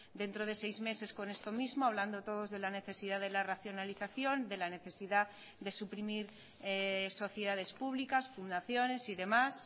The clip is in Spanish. dentro de seis meses con esto mismo hablando todos de la necesidad de la racionalización de la necesidad de suprimir sociedades públicas fundaciones y demás